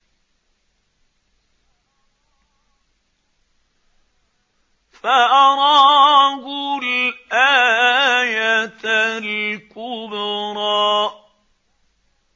فَأَرَاهُ الْآيَةَ الْكُبْرَىٰ